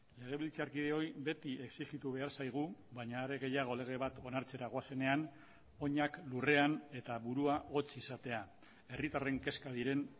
legebiltzarkideoi beti exijitu behar zaigu baina are gehiago lege bat onartzera goazenean oinak lurrean eta burua hotz izatea herritarren kezka diren